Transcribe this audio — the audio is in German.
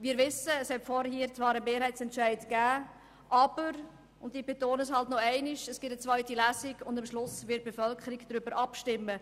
Wir wissen, es hat vorhin zwar einen Mehrheitsentscheid gegeben, aber – und ich betone es noch einmal – es wird eine zweite Lesung geben, und am Schluss wird die Bevölkerung darüber abstimmen.